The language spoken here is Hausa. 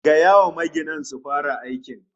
Gaya wa maginan su fara aikin